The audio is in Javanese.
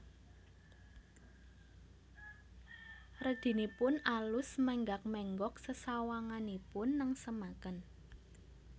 Redinipun alus menggak menggok sesawanganipun nengsemaken